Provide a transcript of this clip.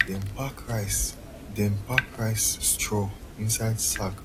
dem pack rice dem pack rice straw inside sack